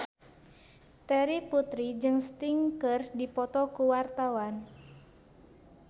Terry Putri jeung Sting keur dipoto ku wartawan